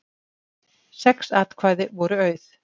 Sex atkvæði voru auð